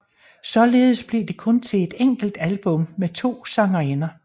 Således blev det kun til et enkelt album med to sangerinder